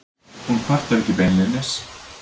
Hún kvartar ekki beinlínis.